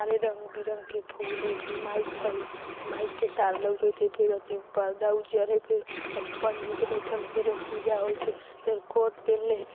सारे रंग-बिरंग के फुल हई फिर माइक हई माइक के तार लउकत हई फिर एथी पर्दा उजर हई फेर एथी पंडित बइठल हई फेर पूजा होइत हई फिर कोर्ट पेहेनले --